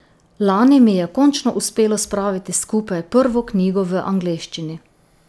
Lani mi je končno uspelo spraviti skupaj prvo knjigo v angleščini.